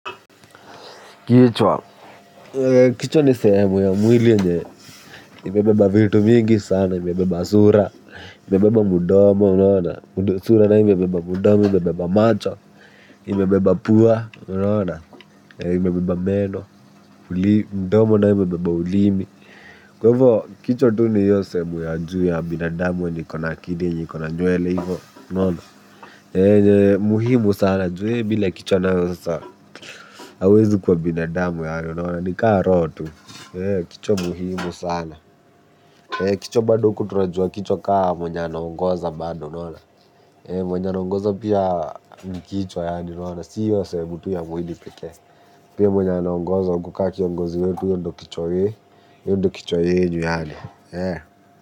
Kichwa. Kichwa ni sehemu ya mwili yenye imebeba vitu mingi sana, imebeba sura. Imebeba mudomo, unaona sura nayo imebeba mudomo, imebeba macho. Imebeba pua, unaona. Imebeba meno. Mdomo nayo imebeba ulimi. Kwa ivo kichwa tu ni iyo sehemu ya juu ya binadamu enye iko na enye iko na nywele ivo unaona muhimu sana juu ya bila kichwa nayo wewe sasa hauwezi kuwa binadamu yaani unaona nikaa roho tu, kichwa muhimu sana. Kichwa bado huku tunajua kichwa kaa mwenye anaongoza bado unaona. Mwenye anaongoza pia ni kichwa yaani unaona. Sio sehemu tu ya mwili pekee. Pia mwenye anaongoza huku ka kiongozi wetu yeye ndo kichwa ye. Ye ndo kichwa yenyu yaani.